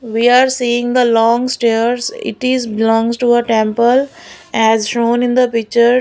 We are seeing the long stairs it is belongs to the temple as shown in the picture.